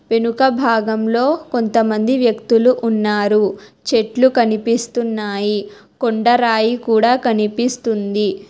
వెనుక భాగంలో కొంతమంది వ్యక్తులు ఉన్నారు చెట్లు కనిపిస్తున్నాయి కొండ రాయి కూడా కనిపిస్తుంది.